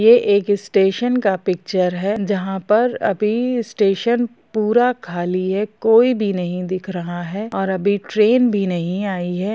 यह एक स्टेशन का पिक्चर है जहाँ पर अभी स्टेशन पूरा खाली है कोई भी नहीं दिख रहा है और अभी ट्रेन भी नहीं आई है।